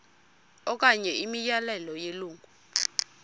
okanye imiyalelo yelungu